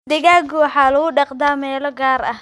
Digaagga waxaa lagu dhaqdaa meelo gaar ah.